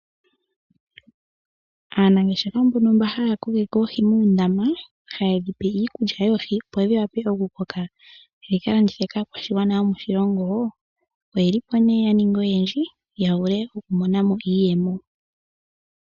Aanangeshefa mbono haya kokeke oohi muundama haye dhi pe iikulya yoohi opo dhi wape oku koka dhi ka landithwe kaakwashigwana yomoshilongo, oye li po nee ya ninga oyendji ya vule oku mona mo iiyemo.